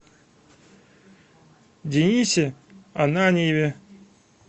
денисе ананьеве